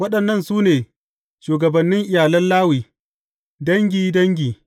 Waɗannan su ne shugabannin iyalan Lawi, dangi, dangi.